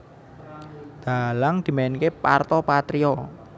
Dhalang dimainké Parto Patrio